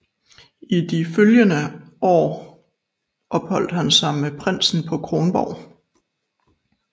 I de to følgende år opholdt han sig med prinsen på Kronborg